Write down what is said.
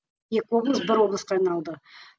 екі облыс бір облысқа айналды